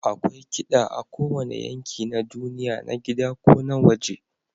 Akwai kiɗa a kowane yanki na duniya, na gida ko na waje.